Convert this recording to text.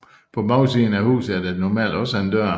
På bagsiden af huset er der normalt også en dør